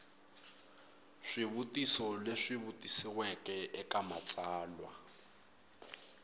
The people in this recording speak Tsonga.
swivutiso leswi vutisiweke eka matsalwa